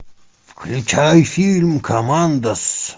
включай фильм коммандос